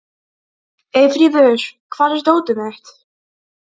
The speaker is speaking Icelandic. Eyfríður, hvar er dótið mitt?